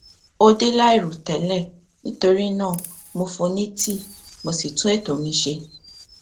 ó dé láìrò tẹlẹ nítorí náà mo fún un ní tíì mo sì tún ètò mi ṣe